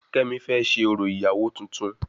Kemi fẹ ṣé orò ìyàwó tuntun